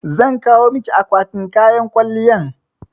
Zan kawo maki akwatin kayan kwalliyan